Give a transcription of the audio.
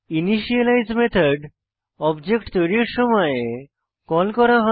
initialise method object তৈরীর সময় call করা হয়